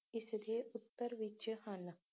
ਇਸਦੇ ਉੱਤਰ ਵਿੱਚ ਹਨ